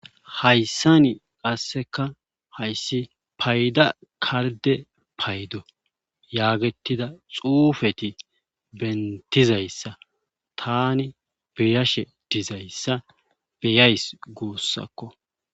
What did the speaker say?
Hayssa ni qasseka hayssi payda karide paydo yaagetida xuufeti bentizayssa tani beyashe dizayssa beyays guussakko